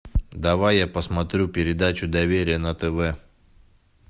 давай я посмотрю передачу доверие на тв